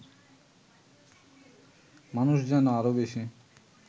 মানুষ যেন আরও বেশি